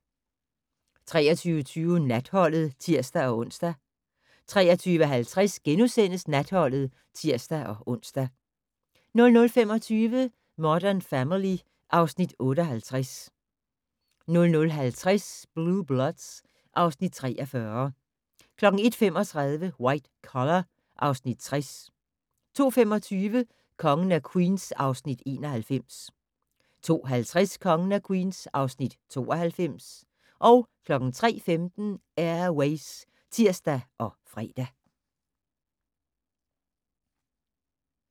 23:20: Natholdet (tir-ons) 23:50: Natholdet *(tir-ons) 00:25: Modern Family (Afs. 58) 00:50: Blue Bloods (Afs. 43) 01:35: White Collar (Afs. 60) 02:25: Kongen af Queens (Afs. 91) 02:50: Kongen af Queens (Afs. 92) 03:15: Air Ways (tir og fre)